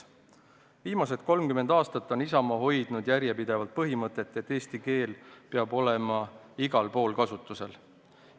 Viimased 30 aastat on Isamaa hoidnud järjepidevalt põhimõtet, et eesti keel peab olema igal pool kasutusel.